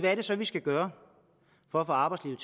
er det så vi skal gøre for at få arbejdslivet